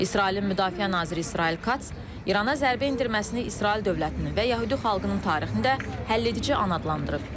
İsrailin müdafiə naziri İsrail Kats İrana zərbə endirməsini İsrail dövlətinin və yəhudi xalqının tarixində həlledici an adlandırıb.